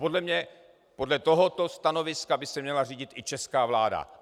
Podle mě podle tohoto stanoviska by se měla řídit i česká vláda.